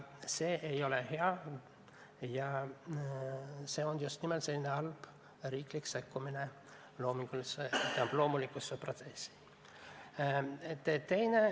See ei ole hea ja see on just nimelt halb riiklik sekkumine loomingulisse ja loomulikku protsessi.